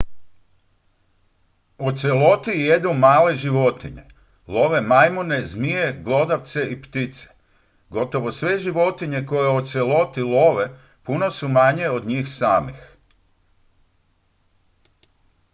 oceloti jedu male životinje love majmune zmije glodavce i ptice gotovo sve životinje koje oceloti love puno su manje od njih samih